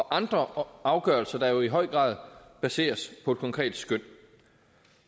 andre afgørelser der jo i høj grad baseres på et konkret skøn